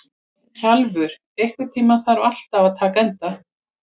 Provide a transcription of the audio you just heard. Kjalvör, einhvern tímann þarf allt að taka enda.